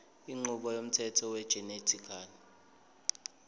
inqubo yomthetho wegenetically